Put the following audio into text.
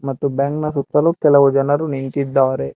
ಮತ್ತು ಬ್ಯಾಂಕ್ ನ ಸುತ್ತಲೂ ಕೆಲವು ಜನರು ನಿಂತಿದ್ದಾರೆ.